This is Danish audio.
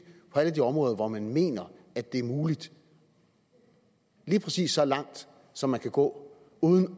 på alle de områder hvor man mener det det er muligt lige præcis så langt som man kan gå uden